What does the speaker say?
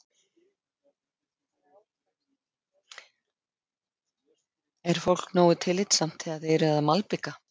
Er fólk nógu tillitsamt þegar þið eruð að malbika?